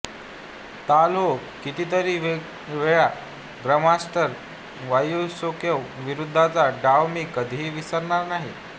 ताल हो कितीतरी वेळा ग्रॅ मास्टर वसियुकोव विरुध्द्चा डाव मी कधीही विसरणार नाही